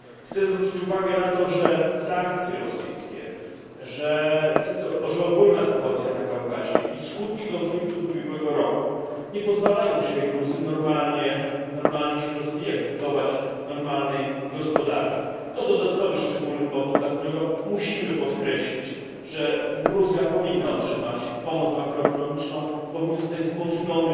Chcę zwrócić uwagę na to, że sankcje rosyjskie, że ogólna sytuacja na Kaukazie i skutki konfliktu z ubiegłego roku nie pozwalają Gruzji normalnie się rozwijać, budować normalnej gospodarki. To dodatkowy szczególny powód, dla którego musimy podkreślić, że Gruzja powinna otrzymać pomoc makroekonomiczną, że powinien zostać wzmocniony